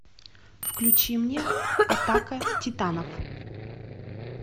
включи мне атака титанов